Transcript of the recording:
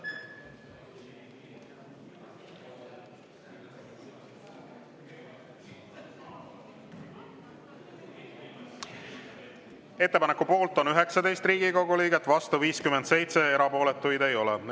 Ettepaneku poolt on 19 Riigikogu liiget, vastu 57, erapooletuid ei ole.